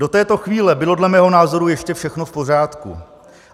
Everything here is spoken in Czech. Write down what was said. Do této chvíle bylo, dle mého názoru ještě všechno v pořádku.